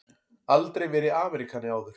Aldrei verið Ameríkani áður.